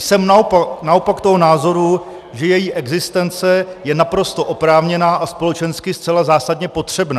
Jsem naopak toho názoru, že její existence je naprosto oprávněná a společensky zcela zásadně potřebná.